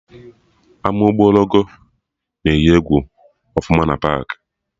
Ama Ụgbọ oloko na eyi egwu ọfụma na paakị